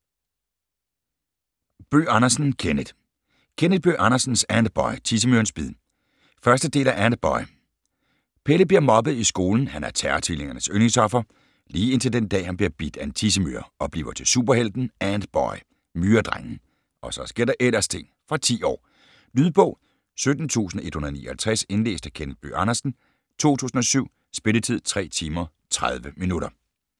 Bøgh Andersen, Kenneth: Kenneth Bøgh Andersens Antboy - Tissemyrens bid 1. del af Antboy. Pelle bliver mobbet i skolen. Han er Terror-Tvillingernes yndlingsoffer, lige indtil den dag, han bliver bidt af en tissemyre - og bliver til superhelten Antboy - Myredrengen. Og så sker der ellers ting! Fra 10 år. Lydbog 17159 Indlæst af Kenneth Bøgh Andersen, 2007. Spilletid: 3 timer, 30 minutter.